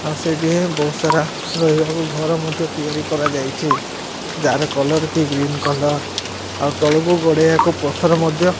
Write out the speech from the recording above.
ଆଉ ସେଇଠି ବହୁତ ସାରା ରହିବାକୁ ଘର ମଧ୍ୟ ତିଆରି କରାଯାଇଚି ଜାର କଲର କି ଗ୍ରୀନ କଲର ଆଉ ତଳକୁ ଗଡିବାକୁ ପଥର ମଧ୍ୟ --